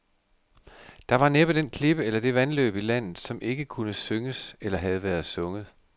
Der var næppe den klippe eller det vandløb i landet, som ikke kunne synges eller havde været sunget.